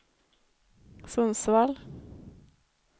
Sundsvall